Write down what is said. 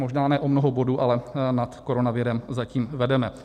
Možná ne o mnoho bodů, ale nad koronavirem zatím vedeme.